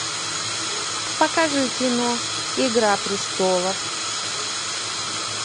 покажи кино игра престолов